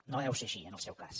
no deu ser així en el seu cas